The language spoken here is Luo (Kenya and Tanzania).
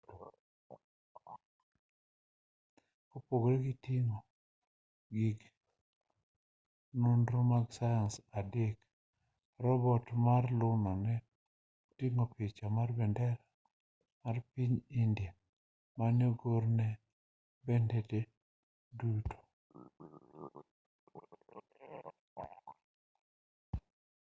kopogore gi ting'o gig nonro mar sayans adek robot mar luna ne oting'o picha mar bendera mar piny india mane ogor e bethene duto